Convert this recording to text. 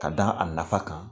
Ka dan a nafa kan